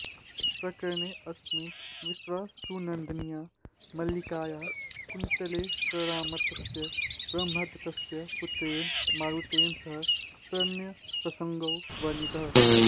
प्रकरणेऽस्मिन् विश्वावसुनन्दिन्या मल्लिकाया कुन्तलेश्वरामात्यस्य ब्रह्मदत्तस्य पुत्रेण मारुतेन सह प्रणयप्रसङ्गो वर्णितः